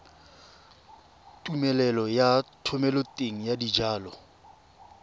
tumelelo ya thomeloteng ya dijalo